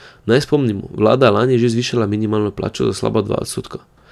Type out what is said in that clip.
Naj spomnimo, vlada je lani že zvišala minimalno plačo za slaba dva odstotka.